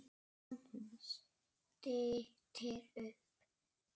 Á meðan stytti upp.